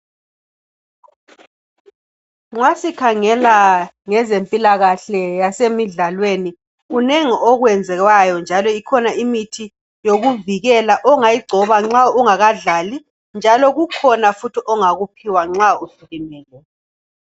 Nxa sikhangela ngezemphilakahle yasemidlalweni, kunengi okwenziwayo njalo kukhona imithi yokuvikela ongayigcoba nxa ungakadlali, njalo kukhona futhi ongakuphiwa nxa usulimele.